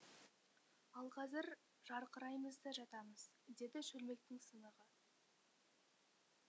ал қазір жарқыраймыз да жатамыз деді шөлмектің сынығы